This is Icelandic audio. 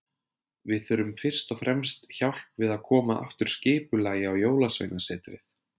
Við þurfum fyrst og fremst hjálp við að koma aftur skipulagi á Jólasveinasetrið.